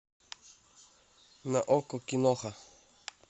на окко киноха